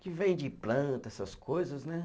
que vende planta, essas coisas, né?